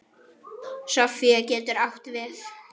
Sofía getur átt við